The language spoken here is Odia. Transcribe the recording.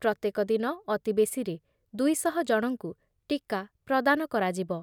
ପ୍ରତ୍ୟେକ ଦିନ ଅତି ବେଶୀରେ ଦୁଇ ଶହ ଜଣଙ୍କୁ ଟୀକା ପ୍ରଦାନ କରାଯିବ।